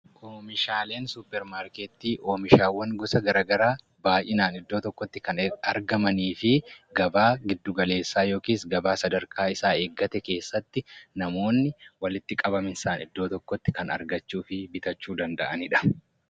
Oomishaaleen suuparmarketii oomishaawwaan gosa garagaraa baayyinaan iddoo tokkotti Kan argamaniifi gabaa giddu-galeessaa yookiis gabaa sadarkaa isaa eeggate keessatti namoonni walitti qabamiinsaan iddoo tokkotti Kan argachuufi bitachuu danda'anidha.